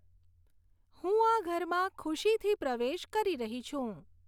હું આ ઘરમાં ખુશીથી પ્રવેશ કરી રહી છું.